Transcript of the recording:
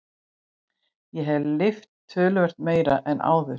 Ég hef lyft töluvert meira en áður.